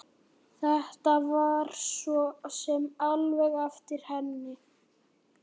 Þetta var svo sem alveg eftir henni.